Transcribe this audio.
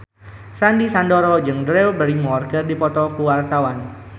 Sandy Sandoro jeung Drew Barrymore keur dipoto ku wartawan